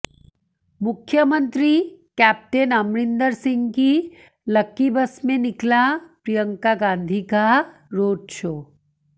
मुख्यमंत्री कैप्टन अमरिंदर सिंह की lucky bus में निकला प्रियंका गांधी का रोड शो